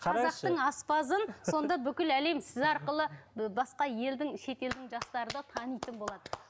қазақтың аспазын сонда бүкіл әлем сіз арқылы басқа елдің шетелдің жастары да танитын болады